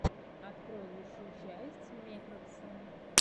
открой лучшую часть мекракса